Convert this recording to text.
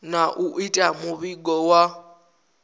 na u ita muvhigo wa